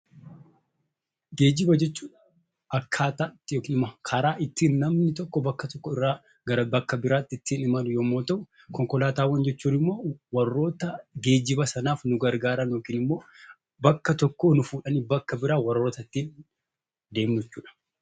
Geejjiba jechuun akkaataa itti yookiin immoo karaa ittiin namni tokko bakka tokko irraa gara bakka biraatti ittiin imalu yommuu ta'u, konkolaataawwan jechuun immoo warroota geejjiba sanaaf nu gargaaran yookiin immoo bakka tokkoo bakka biraa warroota ittiin deemnu jechuudha.